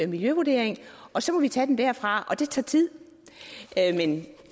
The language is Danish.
miljøvurdering og så må vi tage den derfra og det tager tid men